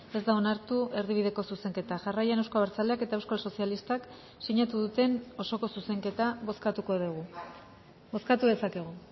ez da onartu erdibideko zuzenketa jarraian euzko abertzaleak eta euskal sozialistak sinatu duten osoko zuzenketa bozkatuko dugu bozkatu dezakegu